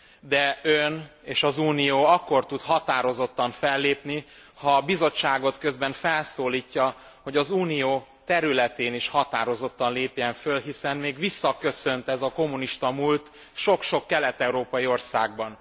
De Ön és az Unió akkor tud határozottan fellépni, ha a Bizottságot közben felszólítja, hogy az Unió területén is határozottan lépjen föl, hiszen még visszaköszönt ez a kommunista múlt sok sok kelet európai országban.